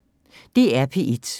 DR P1